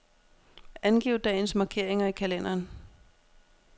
Angiv dagens markeringer i kalenderen.